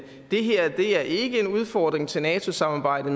det her ikke er en udfordring til nato samarbejdet